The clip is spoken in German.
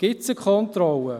Gibt es eine Kontrolle?